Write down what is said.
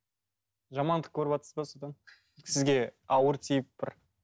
жамандық көріватсыз ба осыдан сізге ауыр тиіп бір